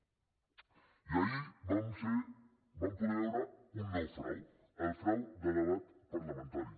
i ahir vam poder veure un nou frau el frau de debat parlamentari